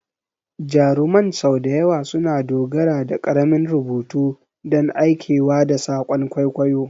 Jaruman sau da yawa suna dogara da ƙaramin rubutu don aikewa da saƙon kwaikwayo.